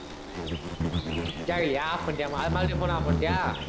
கேக்கலயா off பண்ணிட்டியா மறு~ மறுபடியும் phone off பண்ணிட்டியா